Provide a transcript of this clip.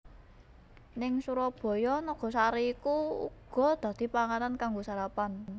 Ning Surabaya nagasari iku uga dadi panganan kanggo sarapan